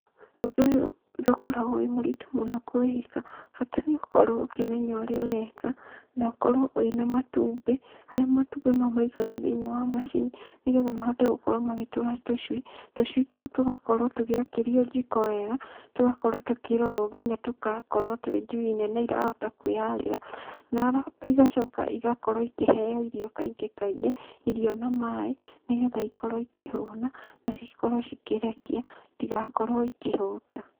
Ũndũ ũyũ ndũkoragũo wĩ mũritũ mũno kũwĩka, bata nĩũkorũo ũkĩmenya ũrĩa ũreka, na ũkorũo wĩna matumbĩ, harĩa matumbĩ mau maikagio thĩinĩ wa macini, nĩgetha mahote gũkorũo magĩtũra tũcui, tũcui tũu tũgakorũo tũgĩakĩrio jiko wega, tũgakorũo tũkĩrorũo nginya tũgakorũo twĩ njui nene irahota kwĩyarĩra, na igacoka igakorũo ikĩheo irio kaingĩ kaingĩ, irio na maĩ, nigetha ikorũo ikĩhũna, na cikorũo cikĩrekia, itigakorũo ikĩhũta.